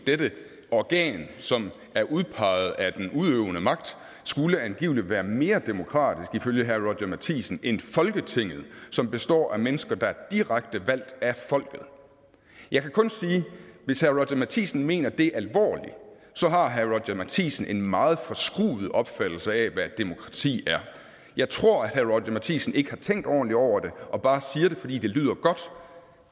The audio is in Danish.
dette organ som er udpeget af den udøvende magt skulle angiveligt være mere demokratisk ifølge herre roger courage matthisen end folketinget som består af mennesker der er direkte valgt af folket jeg kan kun sige at hvis herre matthisen mener det alvorligt så har herre roger courage matthisen en meget forskruet opfattelse af hvad et demokrati er jeg tror at herre roger courage matthisen ikke har tænkt ordentligt over det og bare siger det fordi det lyder godt